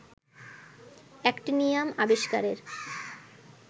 actinium আবিস্কারের